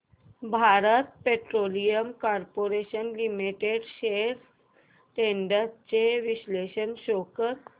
Bharat petroleum corporation limited shares trends चे विश्लेषण show कर